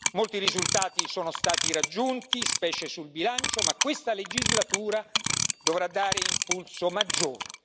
Molti risultati sono stati raggiunti, specie sul bilancio, ma questa legislatura dovrà dare un impulso maggiore.